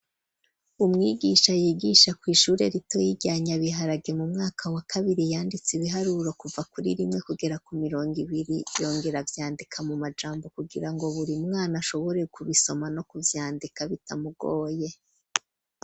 Umwigisha yigisha ku ishure rito rya nyabiharage mu mwaka wa kabiri yanditse ibiharuro kuva kuri rimwe kugera ku mirongi ibiri yongera avyandika mu majambo kugira ngo buri mwana ashobore kubisoma no kuvyandika bitamugoye.